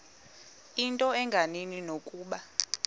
into engenani nokuba